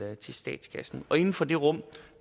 til statskassen og inden for det rum